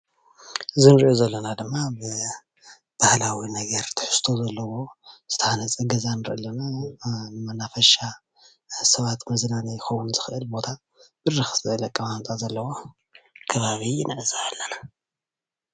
እዚ እንሪኦ ዘለና ድማ ብባህላዊ ነገር ትሕዝቶ ዘለዎ ዝተሃነፀ ገዛ ንርኢ ኣለና፡፡ ንመናፈሻ ሰባት መዝናነይ ክከውን ዝክእል ቦታ ብርክ ዝበለ ኣቀማምጣ ዘለዎ ከባቢ ንዕዘብ ኣለና፡፡